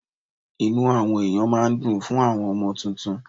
Inú àwọn ẹ̀yàn máa dùn fún àwọn ọmọ tuntun.